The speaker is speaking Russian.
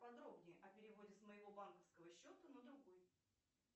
подробнее о переводе с моего банковского счета на другой